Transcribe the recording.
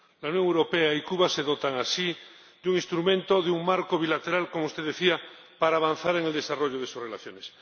La Unión Europea y Cuba se dotan así de un instrumento, de un marco bilateral, como usted decía, para avanzar en el desarrollo de sus relaciones.